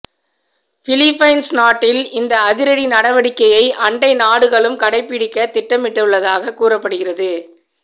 Philippines நாட்டில் இந்த அதிரடி நடவடிக்கையை அண்டை நாடுகளும் கடைபிடிக்க திட்டமிட்டுள்ளதாக கூறப்படுகிறது